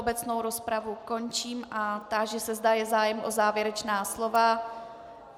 Obecnou rozpravu končím a táži se, zda je zájem o závěrečná slova.